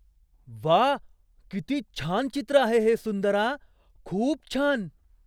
वा! किती छान चित्र आहे हे, सुंदरा! खूप छान.